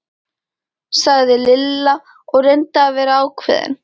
sagði Lilla og reyndi að vera ákveðin.